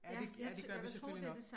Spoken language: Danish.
Ja det ja det gør vi selvfølgelig nok